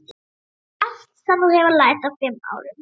Allt sem þú hefur lært á fimm árum.